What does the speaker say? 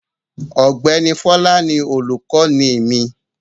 Ọ̀gbẹ́ni Fọlá ni olùkọ́ní mi.